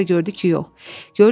Amma sonra gördü ki, yox.